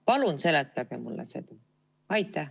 Palun seletage mulle seda!